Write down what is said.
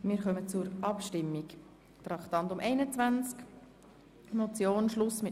Wir kommen zur Abstimmung über das Traktandum 21.